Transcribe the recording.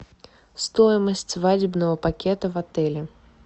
стоимость свадебного пакета в отеле